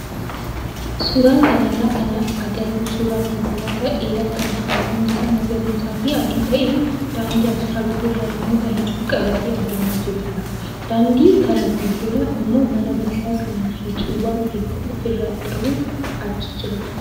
Suuraa kanarraa kan agarru suuraa konkolaataa dheeraa kan halluun isaa magariisaa fi adii ta'e daandii asfaaltii irra namoota hedduu qabatee adeemaa jirudha. Daandii kana fuuldura immoo mana guddaa kan suuqiiwwan hedduu ofirraa qabu achi jira.